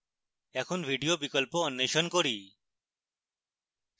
এখন video বিকল্প অন্বেষণ করি